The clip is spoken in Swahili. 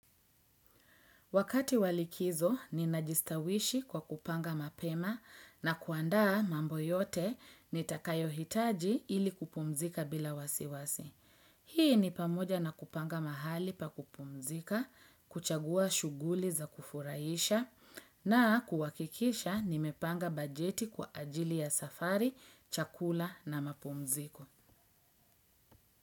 Wakati wa likizo, ninajistawishi kwa kupanga mapema na kuandaa mambo yote nitakayo hitaji ili kupumzika bila wasiwasi. Hii ni pamoja na kupanga mahali pa kupumzika, kuchagua shughuli za kufurahisha na kuhakikisha nimepanga bajeti kwa ajili ya safari, chakula na mapumziko.